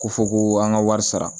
Ko fɔ ko an ka wari sara